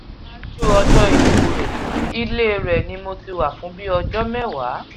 ṣáájú ikú rẹ ilé ẹ̀ ni mo ti wà fún bíi ọjọ́ mẹ́wàá